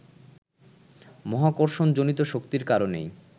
মহাকর্ষণ-জনিত শক্তির কারণেই